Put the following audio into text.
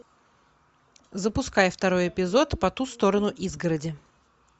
запускай второй эпизод по ту сторону изгороди